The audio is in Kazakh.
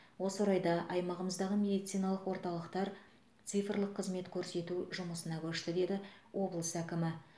осы орайда аймағымыздағы медициналық орталықтар цифрлық қызмет көрсету жұмысына көшті деді облыс әкімі